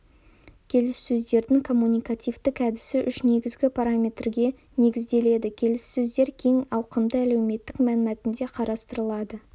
келіссөздердің коммуникативтік әдісі үш негізгі параметрге негізделеді келіссөздер кең ауқымды әлеуметтік мәнмәтінде қарастырылады